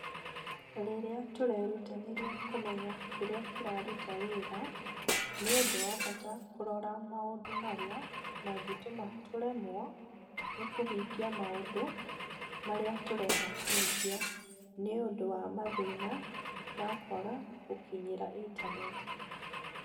Rĩrĩa tũrerutanĩria kũmenya kĩrĩa kĩraruta wĩra, nĩ ũndũ wa bata kũrora maũndũ marĩa mangĩtũma tũremwo nĩ kũhingia maũndũ marĩa tũrenda kũhingia nĩ ũndũ wa mathĩna ma kwaga gũkinyĩra Intaneti